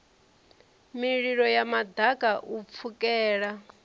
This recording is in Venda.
mililo ya maḓaka u pfukela